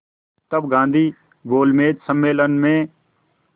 तब गांधी गोलमेज सम्मेलन में